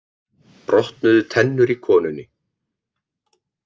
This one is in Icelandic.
Brotnuðu tennur í konunni